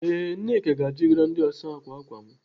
Ee, Nneka ga-achịgara ndị ọsa ákwà ákwà m.